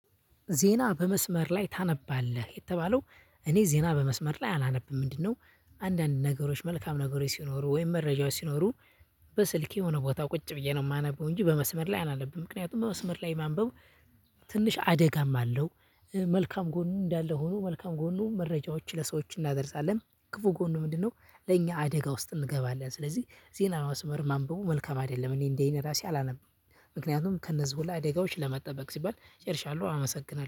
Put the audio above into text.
ዜና በመስመር ላይ ታነባለህ የተባለው እኔ ዜና በመስመር ላይ አላነብም ምንድነው? አንዳንድ ነገሮች መልካም ነገሮች ሲኖሩ ወይም መረጃዎች ሲኖሩ። በስልኬ የሆነ ቦታ ቁጭ ብዬ ነው የማነበው እንጂ በመስመር ላይ አላነብም። ምክንያቱም በመስመር ላይ ማንበብ ትንሽ አደጋም አለው። መልካም ጎን እንዳለ ሆኖ መልካም ጎኑ መረጃዎችን ለሰዎች እናደርሳለን። ክፉ ጎኑ ምንድነው? ለኛ አደጋ ውስጥ እንገባለን። ስለዚህ ዜና መስመር ማንበቡ መልካም አይደለም። እኔ እንደዚህ እኔ ራሴ አላነብም። ምክንያቱም ከእነዚህ ሁላ አደጋዎች ለመጠበቅ ሲባል ጨርሻለሁ አመሰግናለሁ